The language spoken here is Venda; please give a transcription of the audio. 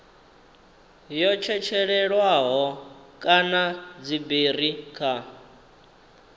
yo tshetshelelwaho kana dziberi kha